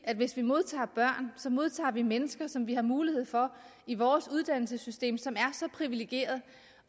at hvis vi modtager børn modtager vi mennesker som vi har mulighed for i vores uddannelsessystem som er så privilegeret